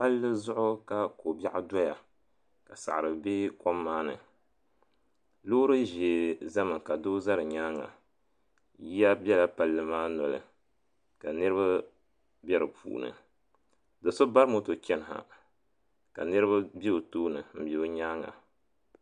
Palli zuɣu ka kobiaɣu doya ka saɣari be kom maa ni Loori ʒee zami ka doo za di nyaanga yiya bela palli maa noli ka niriba be di puuni do'so bari moto chɛni ha ka niriba be o tooni m be o nyaanga.